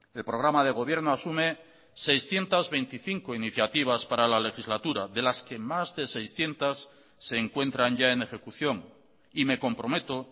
el programa de gobierno asume seiscientos veinticinco iniciativas para la legislatura de las que más de seiscientos se encuentran ya en ejecución y me comprometo